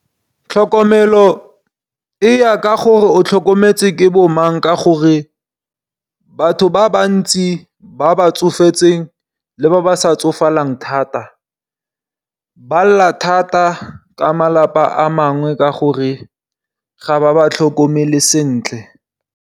Tlhokomelo e ya ka gore o tlhokometse ke bo mang, ka gore batho ba bantsi ba ba tsofetseng le ba ba sa tsofalang thata ba lla thata ka malapa a mangwe ka gore ga ba ba tlhokomele sentle.